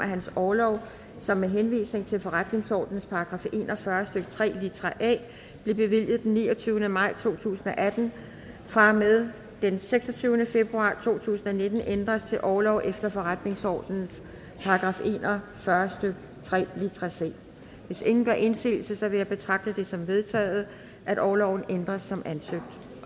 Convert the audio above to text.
at hans orlov som med henvisning til forretningsordenens § en og fyrre stykke tre litra a blev bevilget den niogtyvende maj to tusind og atten fra og med den seksogtyvende februar to tusind og nitten ændres til orlov efter forretningsordenens § en og fyrre stykke tre litra c hvis ingen gør indsigelse vil jeg betragte det som vedtaget at orloven ændres som ansøgt